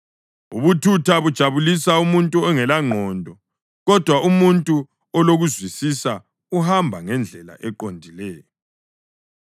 Ubuthutha bujabulisa umuntu ongelangqondo, kodwa umuntu olokuzwisisa uhamba ngendlela eqondileyo.